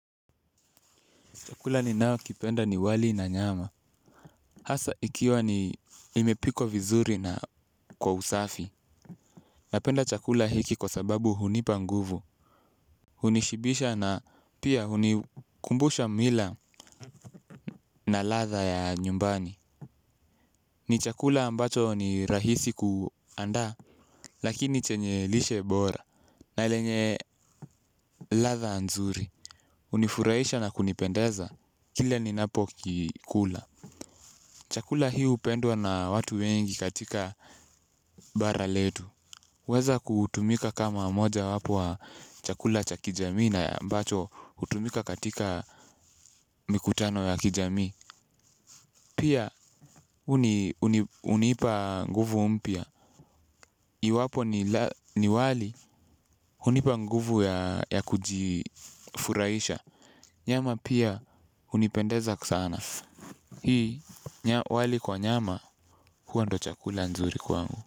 Chakula ninaokipenda ni wali na nyama. Hasa ikiwa ni imepikwa vizuri na kwa usafi. Napenda chakula hiki kwasababu hunipa nguvu. Hunishibisha na pia hunikumbusha mila na ladha ya nyumbani. Ni chakula ambacho ni rahisi kuandaa, lakini chenye lishe bora. Na lenye ladha nzuri. Hunifurahisha na kunipendeza. Kile ninapokikula. Chakula hii hupendwa na watu wengi katika bara letu. Huweza kutumika kama moja wapo wa chakula cha kijamii na ambacho hutumika katika mikutano ya kijamii. Pia hunipa nguvu mpya. Iwapo ni wali, hunipa nguvu ya kujifurahisha. Nyama pia hunipendeza sana. Hii wali kwa nyama huwa ndo chakula nzuri kwangu.